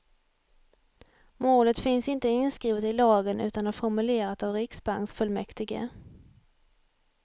Målet finns inte inskrivet i lagen utan är formulerat av riksbanksfullmäktige.